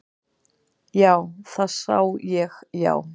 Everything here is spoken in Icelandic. Já, það sá ég já.